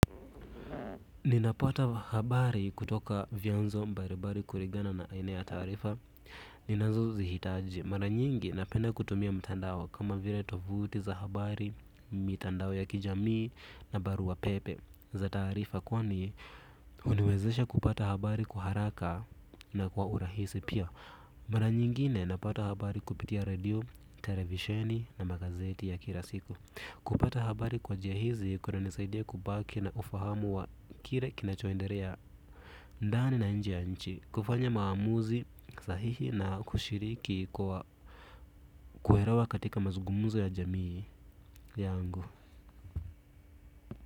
Ninapata habari kutoka vyanzo mbali mbali kulingana na aina ya taarifa. Ninazo zihitaji. Mara nyingi napenda kutumia mtandao kama vile tovuti za habari. Mitandao ya kijamii na barua pepe za taarifa. Kwani, huniwezesha kupata habari kwa haraka na kwa urahisi pia. Mara nyingine napata habari kupitia radio, televisheni na magazeti ya kila siku. Kupata habari kwa njia hizi kunanisaidia kubaki na ufahamu wa kile kinachoendelea ndani na nje ya nchi kufanya maamuzi sahihi na kushiriki kwa kuelewa katika mazungumzo ya jamii yangu.